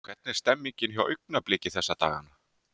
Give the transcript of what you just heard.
Hvernig er stemningin hjá Augnabliki þessa dagana?